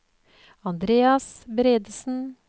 Andreas Bredesen